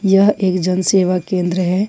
यह एक जन सेवा केंद्र है।